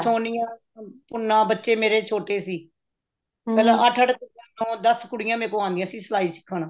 ਸੋਨੀਆ ਗੁਨਾ ਬੱਚੇ ਮੇਰੇ ਛੋਟੇ ਸੀ ਅੱਠ ਅੱਠ ਨੋ ਦਸ ਕੁੜੀਆਂ ਮੇਰੇ ਕੋਲ ਆਉਂਦੀਆਂ ਸੀ ਸਲਾਈ ਸਿੱਖਣ